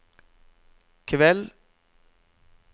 kveld